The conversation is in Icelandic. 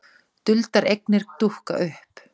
Duldar eignir dúkka upp